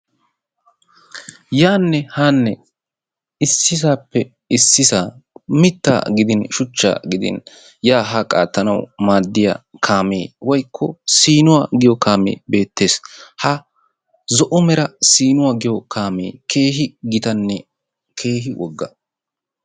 aanne haanne issisappe issisaa mittaa gidin shuchcha gidin yaa haa qaattanaw maaddiya kaame woykko siinuwa giyoo kaamee beettees. Ha zo'o mera siinuwa giyo kaamee keehi gitanne keehi woggaa.